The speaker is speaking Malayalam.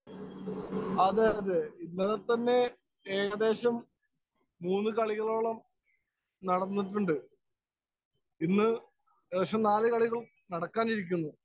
സ്പീക്കർ 1 അതേ, അതേ. ഏകദേശം മൂന്നു കളികളോളം നടന്നിട്ടുണ്ട്. ഇനി ശേഷം നാലുകളികള്‍ നടക്കാനിരിക്കുന്നു.